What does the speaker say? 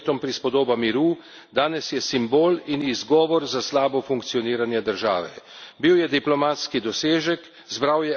Ob svojem času, ko je bil sklenjen, je bil Dayton prispodoba miru, danes je simbol in izgovor za slabo funkcioniranje države.